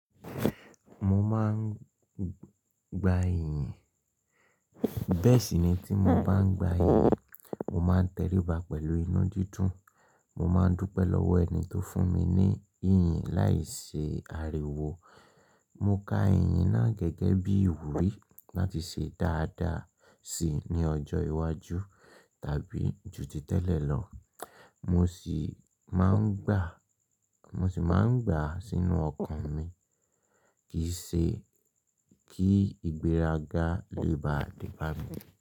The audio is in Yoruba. Mo máa ń gba iyìǹ, bẹ́ẹ̀ sì ni tí mo bá ń gba iyìǹ, mo máa ń tẹríba pẹ̀lú inu dídùn. Mo máa ń dúpẹ́ lọ́wọ́ ẹni tó fún mi ní iyìǹ láì ṣi àríwó. Mo ka iyìǹ náà gẹ́gẹ́ bí ìwúrí láti ṣe dáadáa si ní ọjọ́ iwájú tàbí ju ti tẹ́lẹ̀ lọ. Mo sì máa ń gbàá, mo sì máa ń gbà á sínú ọkàn mi kìí ṣe kí ìgbéraga lè bá debà mí.